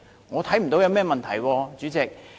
我看不到有任何問題，主席。